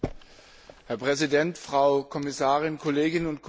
Herr Präsident, Frau Kommissarin, liebe Kolleginnen und Kollegen!